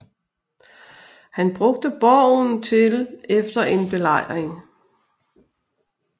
Han brugte borgen til efter en belejring